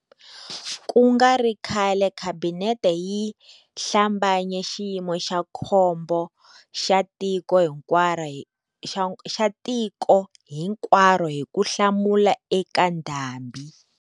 Ku nga ri khale Khabinete yi hlambanye Xiyimo xa Khombo xa Tiko Hikwaro hi ku hlamula eka ndhambi.